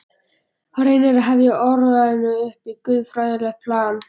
Hann reynir að hefja orðræðuna upp á guðfræðilegt plan.